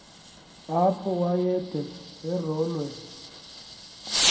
apho wayede arolwe